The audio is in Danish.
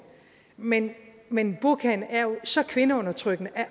men men burkaen er jo så kvindeundertrykkende